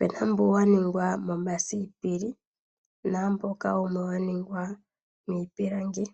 opuna mbu waningwa momasipili naamboka wumwe wa ningwa miipilangi.